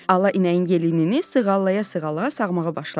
Ala inəyin yelini sığallaya-sığallaya sağmağa başladı.